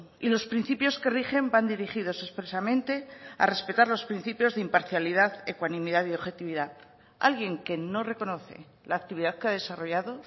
y los principios que rigen van dirigidos expresamente a respetar los principios de imparcialidad ecuanimidad y objetividad alguien que no reconoce la actividad que ha desarrollado